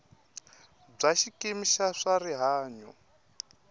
bya xikimi xa swa rihanyo